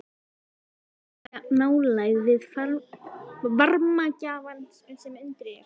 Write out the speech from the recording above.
Þetta sýnir meiri nálægð við varmagjafann sem undir er.